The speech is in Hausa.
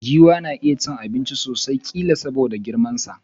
Giwa na iya cin abinchi sosai, killa soboda girman sa.